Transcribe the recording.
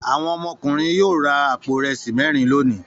Àwọn ọmọkùnrin yóò ra àpò ìrẹsì mẹ́rin lónìí.